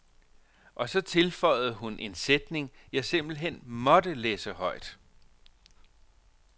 Og så tilføjede hun en sætning, jeg simpelt hen måtte læse højt.